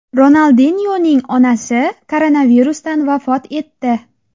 Ronaldinyoning onasi koronavirusdan vafot etdi.